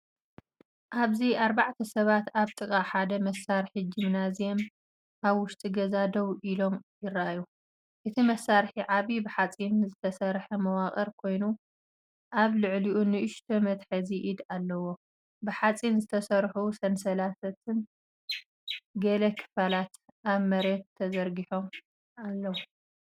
ኣብዚ ኣርባዕተ ሰባት ኣብ ጥቓ ሓደ መሳርሒ ጂምናዝየም ኣብ ውሽጢ ገዛ ደው ኢሎም ይረኣዩ። እቲ መሳርሒ ዓቢ ብሓጺን ዝተሰርሐ መዋቕር ኮይኑ፡ኣብ ልዕሊኡ ንእሽቶ መትሓዚ ኢድ ኣለዎ። ብሓጺን ዝተሰርሑ ሰንሰለታትን ገለ ክፋላትን ኣብ መሬት ተዘርጊሖም ኣለዉ።